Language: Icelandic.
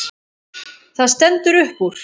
Það stendur upp úr.